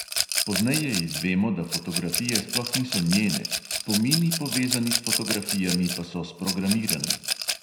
Pozneje izvemo, da fotografije sploh niso njene, spomini, povezani s fotografijami, pa so sprogramirani.